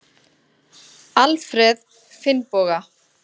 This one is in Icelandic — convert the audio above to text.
Aðrir: Alfreð Finnboga.